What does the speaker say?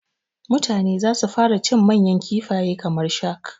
Mutane zasu fara cin manyan kifaye kamar shak